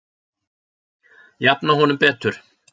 Jafna honum betur